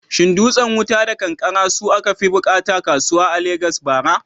Shin dutsen wuta da kankare su aka fi bukata kasuwa a Legas a bara?